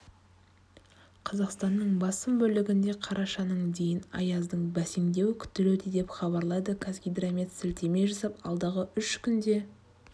қазақстанның басым бөлігінде қарашаның дейін аяздың бәсеңдеуі күтілуде деп хабарлайды қазгидромет сілтеме жасап алдағы үш күнде